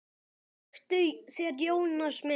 Þektuð þér Jónas minn?